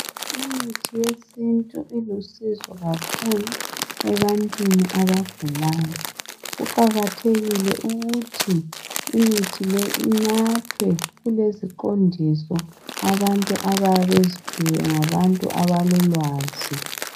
Imithi yesintu ilusizo kakhulu ebantwini abugalayo. kuqakathekile ukuthi imithi leyi inathwe, kuleziqondiso abantu abayabe beziphiwe ngabantu abalolwazi.